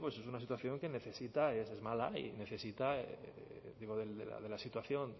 es una situación que necesita es mala y necesita la situación